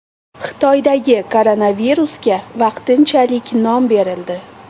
Xitoydagi koronavirusga vaqtinchalik nom berildi.